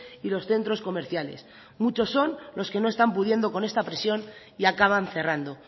y los centros comerciales muchos son los que no están pudiendo con esta presión y acaban cerrando